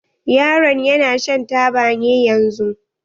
Yaron ya na shan taba ne yanzun?